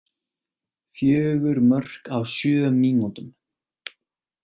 Fjögur mörk á sjö mínútum!